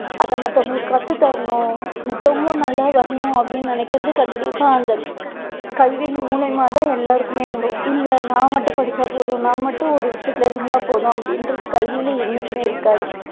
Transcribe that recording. அதை மத்தவங்களுக்கு கத்து தரணும் மத்தவங்களும் நல்லா வரணும் அப்படின்னு நினைக்குறது கண்டிப்பா அந்த கல்வியின் மூலியமா தான் எல்லாருக்குமே வரும் இல்ல நான் மட்டும் படிச்சா போதும் நான் மட்டும் ஒரு விஷயத்துல இருந்தா போதும் அப்படின்றது கல்வியில என்னைக்குமே இருக்காது.